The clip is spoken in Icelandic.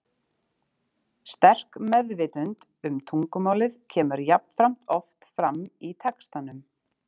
Sterk meðvitund um tungumálið kemur jafnframt oft fram í textanum.